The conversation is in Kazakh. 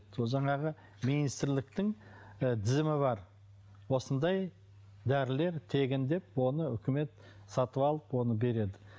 сол жаңағы министрліктің ы тізімі бар осындай дәрілер тегін деп оны үкімет сатып алып оны береді